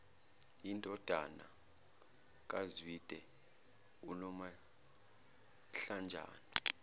indodana kazwide unomahlanjana